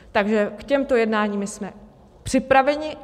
Takže k těmto jednáním jsme připraveni.